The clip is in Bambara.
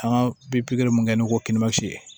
An ka bi pikiri mun kɛ n'o ko